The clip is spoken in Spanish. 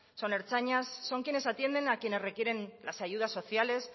son ertzainas son quienes atienden a quienes requieren las ayudas sociales